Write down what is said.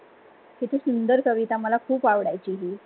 किति सुंदर कविता माला ख़ुप आवदायची हि.